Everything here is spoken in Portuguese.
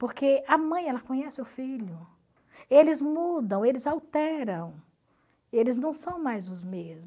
Porque a mãe ela conhece o filho, eles mudam, eles alteram, eles não são mais os mesmos.